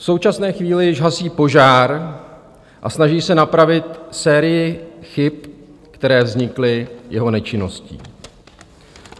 V současné chvíli již hasí požár a snaží se napravit sérii chyb, které vznikly jeho nečinností.